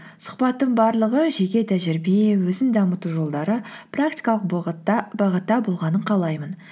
сұхбаттың барлығы жеке тәжірибе өзін дамыту жолдары практикалық бағытта болғанын қалаймын